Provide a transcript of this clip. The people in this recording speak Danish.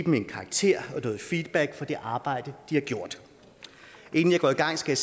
en karakter og noget feedback for det arbejde de har gjort inden jeg går i gang skal